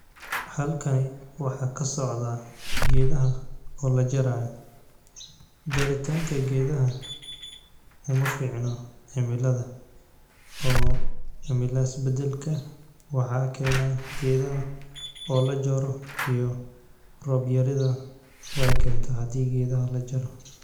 Halkani waxaa ka socda geedaha oo la jaraa. Jaritaanka geedaha uma fiicno cemilada oo cemilaas beddelka waxaa keena geedaha oo la jaro iyo roob yarida waa ikinta haddii geedaha la jaro.